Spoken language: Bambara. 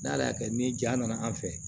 N'ale y'a kɛ ni ja nana an fɛ